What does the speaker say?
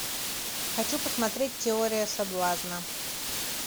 хочу посмотреть теория соблазна